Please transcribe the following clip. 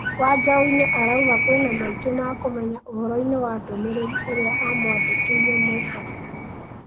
Wanjaũnĩ arauga kwĩ na maingĩ ma kũmenya ũhoroi-nĩ wa ndũmĩrĩri ĩrĩa amwandĩkĩire Mũkabi.